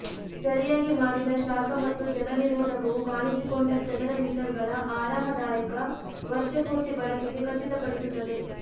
ಸರಿಯಾಗಿ ಮಾಡಿದ ಶಾಖ ಮತ್ತು ಜಲನಿರೋಧಕವು ಕಾಣಿಸಿಕೊಂಡ ಚದರ ಮೀಟರ್ಗಳ ಆರಾಮದಾಯಕ ವರ್ಷಪೂರ್ತಿ ಬಳಕೆಗೆ ಖಚಿತಪಡಿಸುತ್ತದೆ